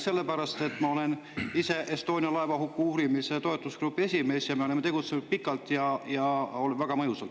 Sellepärast, et ma olen ise Estonia laevahuku uurimise toetusgrupi esimees ning me oleme tegutsenud pikalt ja väga mõjusalt.